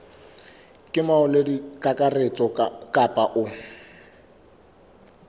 ke molaodi kakaretso kapa o